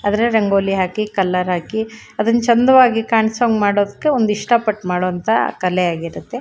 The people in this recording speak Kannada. ಅದ್ರ ರಂಗೋಲಿ ಹಾಕಿ ಕಲರ್ ಹಾಕಿ ಅದ್ನ ಚಂದವಾಗಿ ಕಾಂಸೋಹಂಗೆ ಮಾಡಕ್ಕೆ ಒಂದ ಇಷ್ಟಪಟ್ಟ ಮಾಡೋವಂತ ಕಲೆ ಆಗಿರುತ್ತೆ.